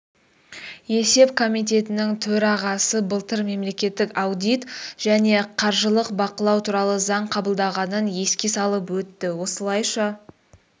есеп комитетінің төрағасы былтыр мемлекеттік аудит және қаржылық бақылау туралы заң қабылданғанын еске салып өтті осылайша